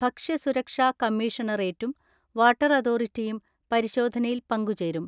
ഭക്ഷ്യസുരക്ഷാ കമ്മീഷണറേറ്റും വാട്ടർ അതോറിറ്റിയും പരി ശോധനയിൽ പങ്കുചേരും.